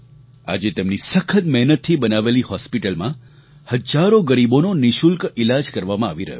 આજે તેમની સખત મહેનતથી બનાવેલી હોસ્પિટલમાં હજારો ગરીબોનો નિઃશુલ્ક ઈલાજ કરવામાં આવી રહ્યો છે